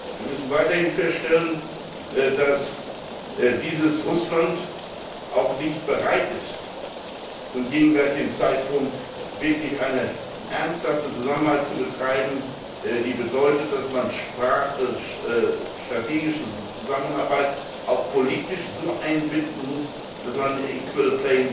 Wir müssen weiterhin feststellen, dass dieses Russland auch nicht bereit ist, zum gegenwärtigen Zeitpunkt wirklich eine ernsthafte Zusammenarbeit zu betreiben, die bedeutet, dass man strategische Zusammenarbeit auch politisch so einbinden muss, dass man ein equal